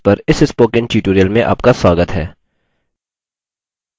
libreoffice base पर इस spoken tutorial में आपका स्वागत है